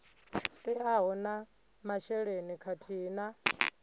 teaho na masheleni khathihi na